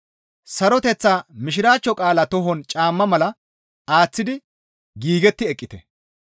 saroteththa Mishiraachcho qaalaa tohon caamma mala aaththidi giigetti eqqite.